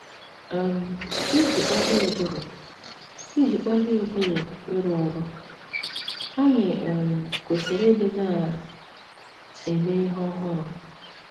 um Iji kpalie ụbụrụ Iji kpalie ụbụrụ ịrụ ọrụ, anyị um kwesịrị ịdị na - eme ihe ọhụrụ.